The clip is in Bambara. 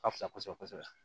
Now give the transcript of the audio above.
A ka fisa kosɛbɛ kosɛbɛ